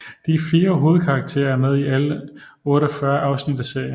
De 4 hovedkarakterer er med i alle 48 afsnit af serien